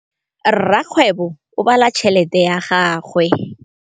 Rakgwêbô o bala tšheletê ya gagwe.